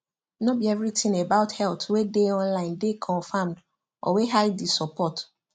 no be everything about health wey dey online dey confirmed or wey heidi support